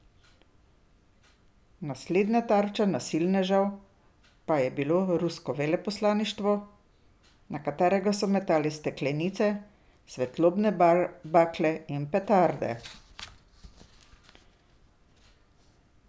Naslednja tarča nasilnežev pa je bilo rusko veleposlaništvo, na katero so metali steklenice, svetlobne bakle in petarde.